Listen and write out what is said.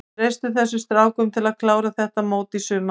Við treystum þessum strákum til að klára þetta mót í sumar.